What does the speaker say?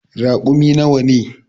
Raƙumin nawa ne.